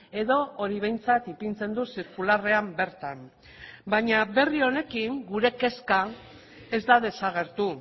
edo hori behintzat ipintzen du zirkularrean bertan baina berri honekin gure kezka ez da desagertu